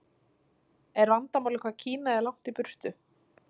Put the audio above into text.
Er vandamálið hvað Kína er langt í burtu?